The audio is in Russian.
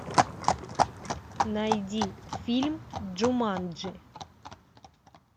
найди фильм джуманджи